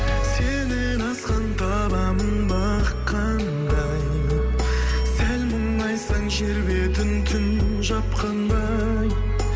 сеннен асқан табамын бақ қандай сәл мұңайсаң жер бетін түн жапқандай